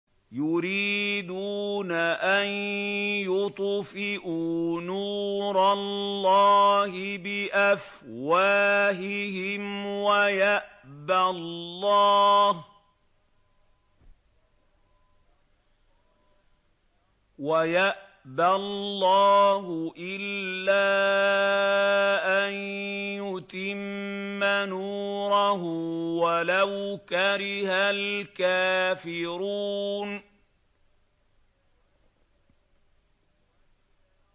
يُرِيدُونَ أَن يُطْفِئُوا نُورَ اللَّهِ بِأَفْوَاهِهِمْ وَيَأْبَى اللَّهُ إِلَّا أَن يُتِمَّ نُورَهُ وَلَوْ كَرِهَ الْكَافِرُونَ